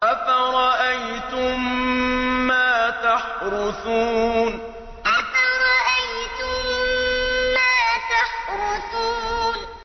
أَفَرَأَيْتُم مَّا تَحْرُثُونَ أَفَرَأَيْتُم مَّا تَحْرُثُونَ